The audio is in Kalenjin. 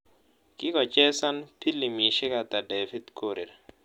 Kigochesan pilimisiek ata david korir